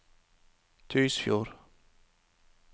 Tysfjord